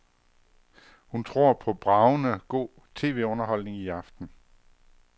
Hun tror på bragende god tvunderholdning i aften.